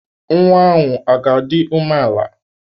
Nwa ahụ ọ ga-adị umeala?